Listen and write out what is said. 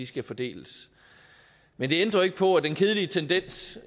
skal fordeles men det ændrer jo ikke på at den kedelige tendens